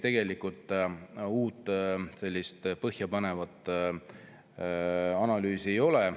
Tegelikult uut, sellist põhjapanevat analüüsi ei ole.